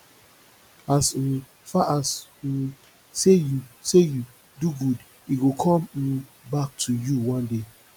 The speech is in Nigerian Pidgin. as um far as um say you say you do good e go come um back to you one day